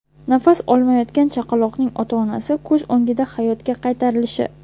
Nafas olmayotgan chaqaloqning ota-onasi ko‘z o‘ngida hayotga qaytarilishi.